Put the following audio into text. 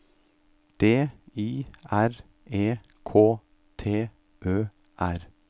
D I R E K T Ø R